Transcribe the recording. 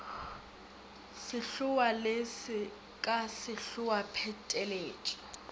ka sehloa le sekasehloa pheteletšo